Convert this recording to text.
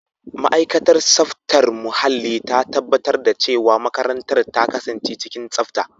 Ma'aikatar tsaftar muhalli ta tabbatar da cewa makarantar ta kasance cikin tsafta.